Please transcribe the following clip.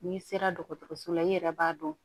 N'i sera dɔgɔtɔrɔso la i yɛrɛ b'a dɔn